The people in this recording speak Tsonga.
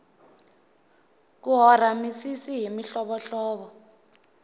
ku hora misisi hi mihlovohlovo